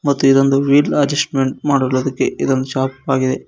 ಮತ್ತು ಇದೊಂದು wheel adjustment ಮಾಡಲು ಅದಕ್ಕೆ ಇದೊಂದ್ ಶಾಪ್ ಆಗಿದೆ.